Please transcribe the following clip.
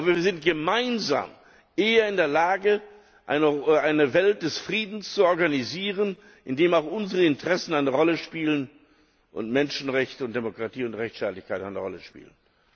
Aber wir sind gemeinsam eher in der Lage, eine Welt des Friedens zu organisieren, in der auch unsere Interessen eine Rolle spielen, in der auch Menschenrechte, Demokratie und Rechtsstaatlichkeit eine Rolle spielen.